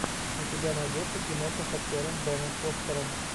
у тебя найдется киноха с актером беном фостером